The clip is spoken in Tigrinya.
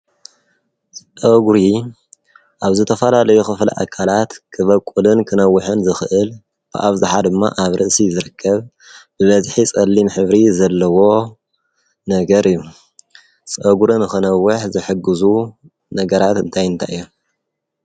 ጸጉር ኣብ ርእሲ ሰብ ዝወጽእ ነገር እዩ። ርእሲ ካብ ጸሓይን ብርድን ንምጥቃዕ ይሕግዝ። እቲ ጸጉር ቀለምን ቅጥዒን ከም ሰብ ይፈልይ።